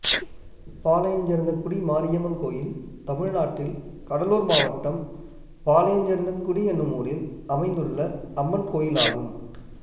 பாளையஞ்சேர்ந்தங்குடி மாரியம்மன் கோயில் தமிழ்நாட்டில் கடலூர் மாவட்டம் பாளையஞ்சேர்ந்தங்குடி என்னும் ஊரில் அமைந்துள்ள அம்மன் கோயிலாகும்